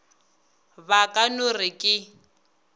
ba ka no re ke